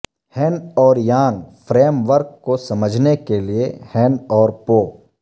ہن اور یانگ فریم ورک کو سمجھنے کے لئے ہن اور پو